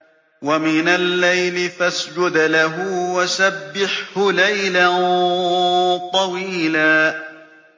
وَمِنَ اللَّيْلِ فَاسْجُدْ لَهُ وَسَبِّحْهُ لَيْلًا طَوِيلًا